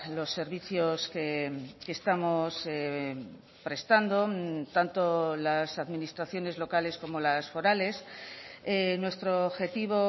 los servicios que estamos prestando tanto las administraciones locales como las forales nuestro objetivo